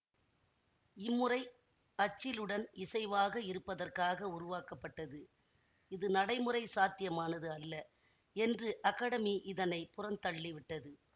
இம்முறை அச்சிலுடன் இசைவாக இருப்பதற்காக உருவாக்கப்பட்டது இது நடைமுறை சாத்தியமானது அல்ல என்று அக்கடமி இதனை புறந்தள்ளிவிட்டது